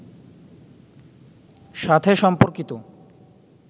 সাথে সম্পর্কিত